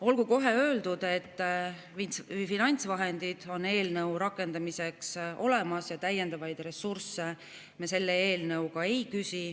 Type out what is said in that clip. Olgu kohe öeldud, et finantsvahendid eelnõu rakendamiseks on olemas ja täiendavaid ressursse me selle eelnõuga ei küsi.